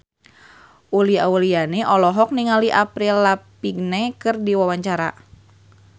Uli Auliani olohok ningali Avril Lavigne keur diwawancara